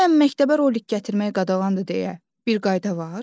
Bəyəm məktəbə rolik gətirmək qadağandır deyə bir qayda var?